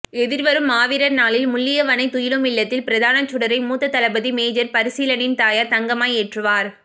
எதிர்வரும் மாவீரர்நாளில்முள்ளியவளை துயிலுமில்லத்தில் பிரதான சுடரை மூத்த தளபதி மேஜர் பசீலனின் தாயார் தங்கம்மா ஏற்றுவார்